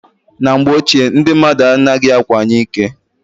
Na mgbe ochie ndi mmadụ anaghị akwanye ike.